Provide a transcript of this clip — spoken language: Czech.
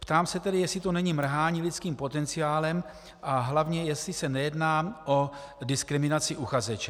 Ptám se tedy, jestli to není mrhání lidským potenciálem a hlavně, jestli se nejedná o diskriminaci uchazeče.